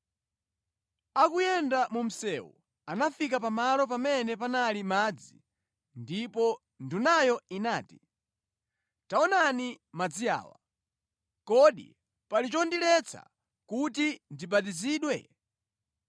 Akuyenda mu msewu anafika pamalo pamene panali madzi ndipo ndunayo inati, “Taonani madzi awa. Kodi pali chondiletsa kuti ndibatizidwe?”